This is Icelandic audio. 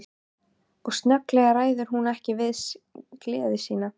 Og snögglega ræður hún ekki við gleði sína.